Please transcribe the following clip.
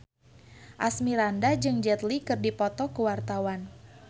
Asmirandah jeung Jet Li keur dipoto ku wartawan